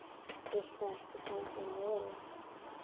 Viltu ekki fá þér mola?